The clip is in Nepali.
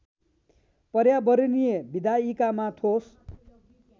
पर्यावरणी विधायिकामा ठोस